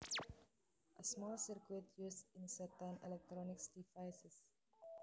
A small circuit used in certain electronic devices